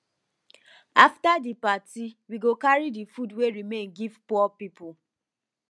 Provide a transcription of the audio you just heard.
after di party we go carry di food wey remain give poor people